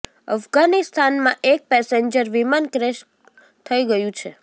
અફઘાનિસ્તાન માં એક પેસેન્જર વિમાન ક્રેશ થઇ ગયું છે